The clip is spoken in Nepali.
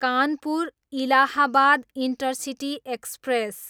Kanpur, Allahabad intercity express